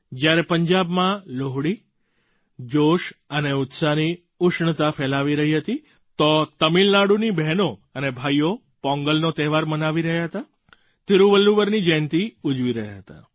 જ્યારે પંજાબમાં લોહડી જોશ અને ઉત્સાહની ઉષ્ણતા ફેલાવી રહી હતી તો તમિલનાડુની બહેનો અને ભાઈઓ પોંગલનો તહેવાર મનાવી રહ્યા હતા તિરુવલ્લુવરની જયંતી ઉજવી રહ્યાં હતાં